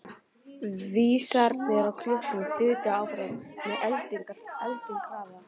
Vísarnir á klukkunni þutu áfram með eldingarhraða.